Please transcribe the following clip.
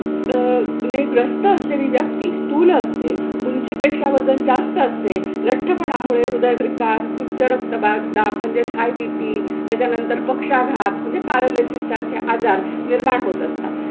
अह ने ग्रस्त असलेली व्यक्ती स्थूल असते. उंचीपेक्षा वजन जास्त असते. लट्ठपणामुळे हृदयविकार, उच्चरक्तदाब, दाब म्हणजेच हाय BP त्याच्यानंतर पक्षाघात म्हणजे पॅरालिसिस सारखे आजार निर्माण होत असतात.